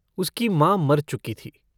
उसकी माँ मर चुकी थी।